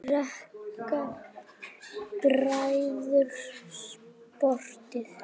Greikka bræður sporið.